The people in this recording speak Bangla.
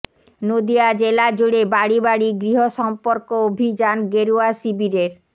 নদীয়া জেলাজুড়ে বাড়ি বাড়ি গৃহ সম্পর্ক অভিযান গেরুয়া শিবিরের